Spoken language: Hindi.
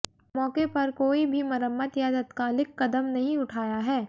मौके पर कोई भी मरम्मत या तत्कालिक कदम नहीं उठाया है